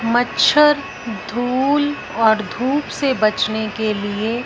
मच्छर धूल और धूप से बचने के लिए--